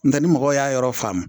Nka ni mɔgɔw y'a yɔrɔ faamu